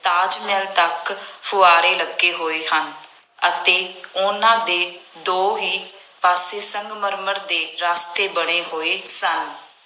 ਤਾਜ ਮਹਿਲ ਤੱਕ ਫੁਆਂਰੇ ਲੱਗੇ ਹੋਏ ਹਨ ਅਤੇ ਉਹਨਾ ਦੇ ਦੋਹੇਂ ਪਾਸੇ ਸੰਗਮਰਮਰ ਦੇ ਰਸਤੇ ਬਣੇ ਹੋਏ ਸਨ।